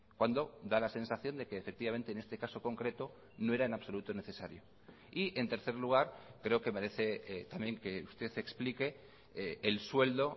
cuando da la sensación de que efectivamente en este caso concreto no era en absoluto necesario y en tercer lugar creo que merece también que usted explique el sueldo